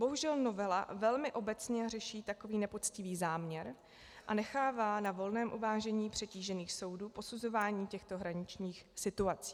Bohužel novela velmi obecně řeší takový nepoctivý záměr a nechává na volném uvážení přetížených soudů posuzování těchto hraničních situací.